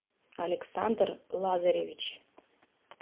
александр лазаревич